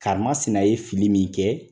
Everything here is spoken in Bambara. Karimasina ye fili min kɛ